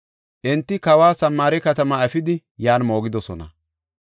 Enti kawa Samaare katamaa efidi yan moogidosona.